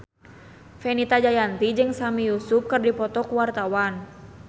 Fenita Jayanti jeung Sami Yusuf keur dipoto ku wartawan